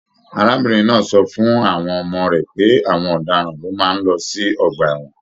Arábìnrin náà sọ fún àwọn ọmọ rẹ pé àwọn ọdaràn ló máa n lọ sí ọgbà ẹwọn